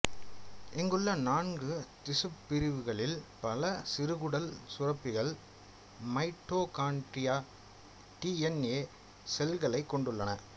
இங்குள்ள நான்கு திசுப்பிரிவுகளில் பல சிறுகுடல் சுரப்பிகள் மைட்டோகாண்டிரிய டிஎன்ஏ செல்களைக் கொண்டுள்ளன